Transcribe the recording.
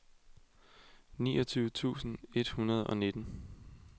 niogtyve tusind et hundrede og nitten